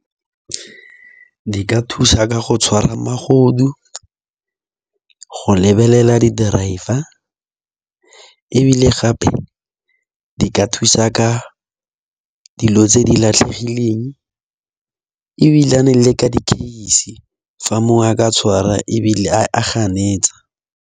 Di ka thusa ka go tshwara magodu, go lebelela di-driver ebile gape di ka thusa ka dilo tse di latlhegileng, ebilane le ka di-case fa mongwe a ka tshwarwa ebile a ganetsa.